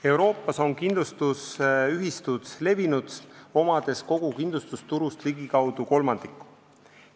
Euroopas on kindlustusühistud levinud, nad omavad kogu kindlustusturust ligikaudu kolmandiku.